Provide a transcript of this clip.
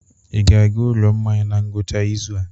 Ị ga-aga ụlọ mmanya na ngwụcha izu a?